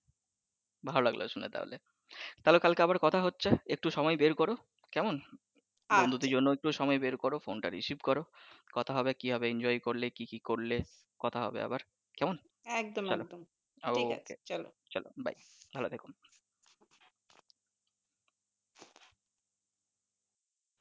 বন্ধুদের জন্য একটু সময় বের করো ফোন টা recived করো কথা হবে কি হবে enjoy করলে কি কি করলে কথা হবে আবার কেমন চলো, okay চলো bye ভালো থেকো